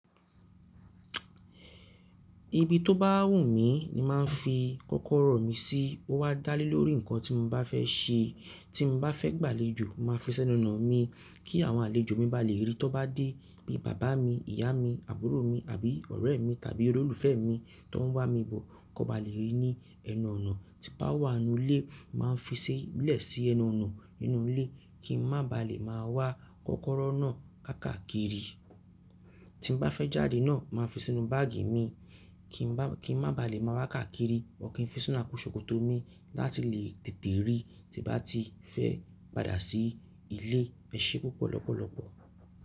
Ibi to bá wù mí ni màá n fi kọ́kọ́rọ́ mi sí. Ó wa dálẹ̀ lórí nǹkan tí mo bá fẹ́ ṣe. Tí mo bá fẹ́ gbàlejò, mo ma fi senú ọnà mi kí àwọn àlejò mi bá lè rí. Tọ́n bá dé bí bàbá mi, ìyá mi, àbúrò mi àbí ọ̀rẹ́ e mi tàbí olólùfẹ́ e mi tón wá mi bọ̀ kón bá lè rí ní ẹnu ọnà. Ti bá wà n nú ilé, màá fi sílẹ̀ sí ẹnu ọnà nínú ilé kí n má ba à lè máa wá kọ́kọ́rọ́ náà kákàakiri. Tin bá fẹ́ jáde náà, màá fi sínú báàgì mi ki n ba kí n má ba à lè máa haá káàkiri. Or kì n fi sínú àpò ṣòkòtò mi láti lè tètè rí tí bá ti fẹ́ padà sí ilé. Ẹ ṣé púpọ̀ lọ́pọ̀lọpọ̀.